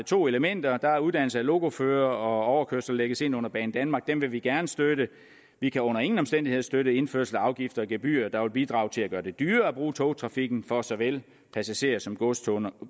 to elementer der er uddannelse af lokoførere og overkørsler lægges ind under banedanmark dem vil vi gerne støtte vi kan under ingen omstændigheder støtte indførelse af afgifter og gebyrer der vil bidrage til at gøre det dyrere at bruge togtrafikken for såvel passagerer som godskunder